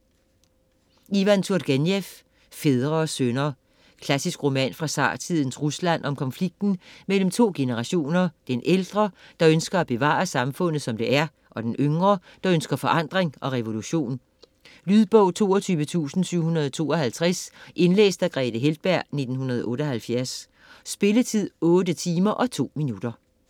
Turgenev, Ivan: Fædre og sønner Klassisk roman fra zartidens Rusland om konflikten mellem to generationer: den ældre, der ønsker at bevare samfundet som det er, og den yngre, der ønsker forandring og revolution. Lydbog 22752 Indlæst af Grethe Heltberg, 1978. Spilletid: 8 timer, 2 minutter.